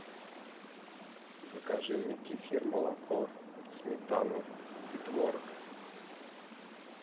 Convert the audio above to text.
закажи мне кефир молоко сметану и творог